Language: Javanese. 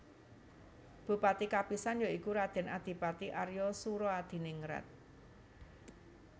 Bupati kapisan ya iku Raden Adipati Arya Soeroadiningrat